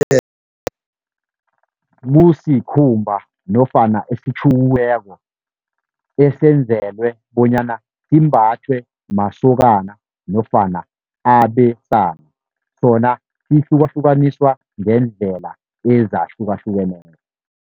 kusikhumba nofana esitjhukiweko esenzelwe bonyana simbathwe masokana nofana abesana. Sona sihlukahlukaniswa ngeendlela ezahlukahlukeneko.